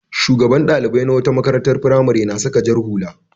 Shugaban ɗalibai na wata makarantar firamare da saka jar hula.